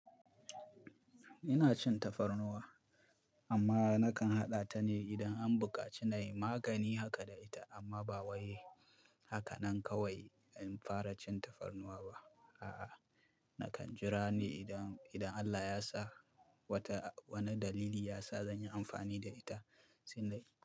Ina cin tafarnuwa, amma nakan haɗa ta ne idan an bukaci na yi magani haka da ita amma ba wai haka nan kawai in fara cin tafarnuwa ba. A'a, nakan jira ne idan, idan Allah ya sa wata, wani dalili ya sa zan yi amfani da ita, sai dai.